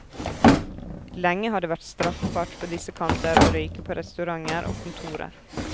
Lenge har det vært straffbart på disse kanter å røyke på restauranter og kontorer.